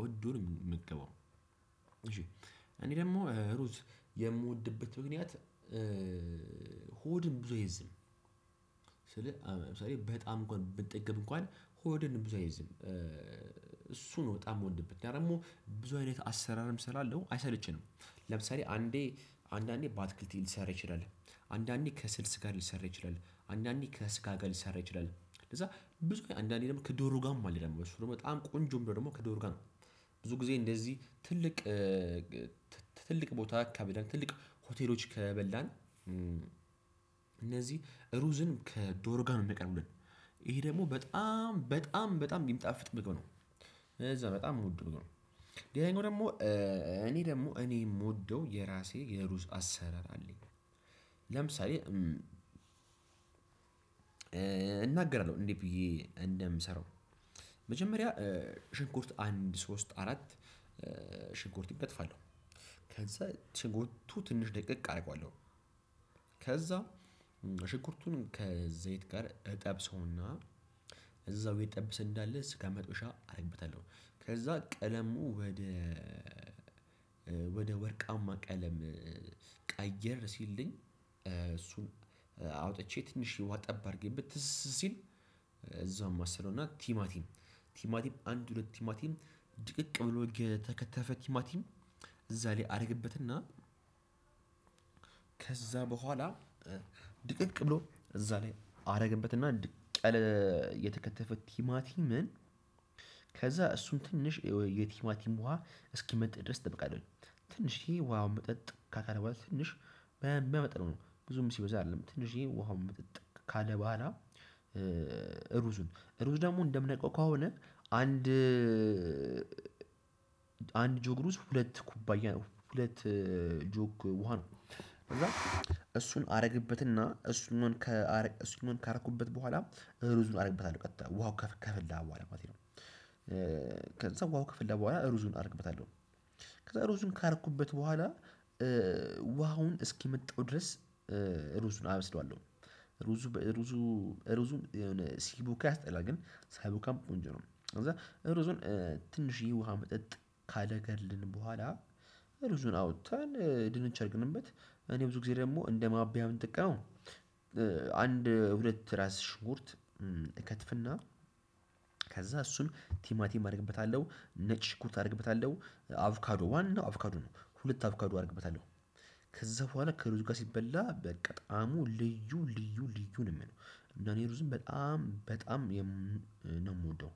ወዶ ነው የሚመገበው። እሺ እኔ ደግሞ ሩዝ የምወድበት ምክንያት-: ሆድን ብዙ አይዝም ስል ለምሳሌ በጣም እንኳን ብጠግብ እንኳን ሆድን ብዙ አይዝም። እሱ ነው በጣም የምወድበት። ደግሞ ብዙ አይነት አሰራርም ስላለው አይሰለችኝም። ለምሳሌ አንዴ አንዳንዴ ባትክልት ሊሰራ ይችላል። አንዳንዴ ከስልስ ጋር ሊሰራ ይችላል። አንዳንዴ ከስጋ ጋር ሊሰራ ይችላል። ከዛ ብዙ አንዳንዴ ደግሞ ከዶሮ ጋር ማለት ነው፣ ደግሞ በጣም ቆንጆም ደግሞ ከዶሮ ጋር ነው። ብዙ ጊዜ እንደዚህ ትልቅ- ትልቅ ቦታ ካበዳን ትልቅ ሆቴሎች ከበላን እነዚህ ሩዝን ከዶሮ ጋር ነው የምያቀርቡልን ይሄ ደግሞ በጣም በጣም በጣም የምጣፍጥ ምግብ ነው። እዛ- በጣም የምወደው ምግብ ነው። ሌላኛው ደግሞ እኔ ደግሞ እኔ የምወደው የራሴ የሩዝ አሰራር አለኝ። ለምሳሌ- እናገራለሁ እንዴት ብዬ እንደምሰራው መጀመሪያ ሽንኩርት አንድ ሶስት አራት ሽንኩርት ይከትፋለሁ። ከዛ ሽንኩርቱ ትንሽ ደቀቅ አደርገዋለሁ። ከዛ- ሽኩርቱን ከዘይት ጋር እጠብሰውና- እዛው እየተጠበሰ እንዳለ ስጋ መጥበሻ አደርግበታለሁ። ከዛ ቀለሙ ወደ ወደ ወርቃማ ቀለም- ቀየር ሲልልኝ እሱን አውጥቼ ትንሽ ውሃ ጠብ አድርጌበት ትስ ሲል እዛውም አማስለውና ቲማቲም- ቲማቲም አንድ ሁለት ቲማቲም ድቅቅ ብሎ የተከተፈ ቲማቲም እዛ ላይ አድርግበትና- ከዛ በኋላ ድቅቅ ብሎ እዛ ላይ አደረግበትና ድቅቅ ያለ የተከተፈት ቲማቲምን- ከዛ እሱን ትንሽ የቲማቲም ውሃ እስኪመጥ ድረስ እጠብቃለሁኝ። ትንሽ ውሃውን መጠጥ ካለ በኃላ ትንሽ በሚያመጥነው ነው ብዙም ሲበዛ አይደለም ትንሽዬ ውሃውን ምጠጥ ካለ በኋላ- ሩዙን ሩዝ ደግሞ እንደምነቃው ከሆነ አንድ አንድ- ጆግ ሩዝ ሁለት ኩባያ ሁለት ጆግ ውሃ ነው። እሱን አደረግበትና እሱን እሱን ካረኩበት በኋላ ሩዝን አደረግበታለሁ ቀጥታ ውሃው ከፈላ በኋላ ማለት ነው። ከዛ ውሃው ከፈላ በኋላ ሩዙን አድርግበታለሁ። ከዛ ሩዙን ካረኩበት በኋላ ውሃውን እስኪመጠው ድረስ- ሩዙን አበስለዋለሁ። ሩዙ በሩዙ ሩዙን ሲቦካ ያስጠላል። ግን ሳይቦካም ቆንጆ ነው። ከዛ ሩዙን ትንሽዬ ውሃ መጠጥ ካረገልን በኋላ- ሩዙን አውጥተን ድንች አድርግንበት እኔ ብዙ ጊዜ ደግሞ እንደማብያ የሚጠቀመው- አንድ ሁለት ራስ ሽጉርት እከትፍና- ከዛ እሱን ቲማቲም አደርግበታለሁ። ነጭ ሽኩርት አደርግበታለሁ። አቭካዶ ዋናው አቭኦካዶ ነው። ሁለት አቭካዱ አድርግበታለሁ- ከዛ በኋላ ከሩዙ ጋር ሲበላ በቃ በጣም ልዩ ልዩ ልዩ ነው። እና እኔ ሩዝን በጣም በጣም ነው የምወደው።